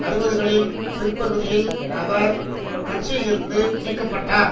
அறுபதுகளின் பிற்பகுதியில் அவர் கட்சியிலிருந்து நீக்க பட்டார்